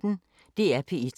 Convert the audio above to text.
DR P1